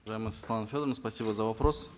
уважаемая светлана федоровна спасибо за вопрос